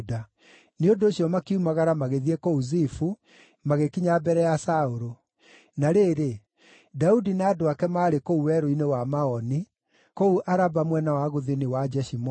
Nĩ ũndũ ũcio makiumagara magĩthiĩ kũu Zifu, magĩkinya mbere ya Saũlũ. Na rĩrĩ, Daudi na andũ ake maarĩ kũu Werũ-inĩ wa Maoni, kũu Araba mwena wa gũthini wa Jeshimoni.